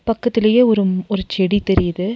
பக்கத்துலே ஒரும் ஒரு செடி தெரியிது.